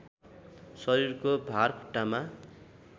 शरीरको भार खुट्टामा